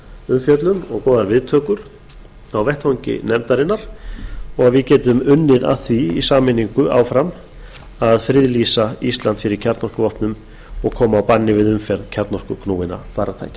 umfjöllun og góðar viðtökur á vettvangi nefndarinnar og við getum unnið að því í sameiningu áfram að friðlýsa ísland fyrir kjarnorkuvopnum og koma á banni við umferð kjarnorkuknúinna farartækja